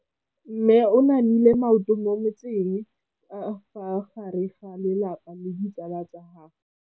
Mme o namile maoto mo mmetseng ka fa gare ga lelapa le ditsala tsa gagwe.